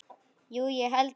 Jú ég held það.